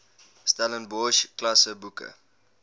stellenbosch klasse boeke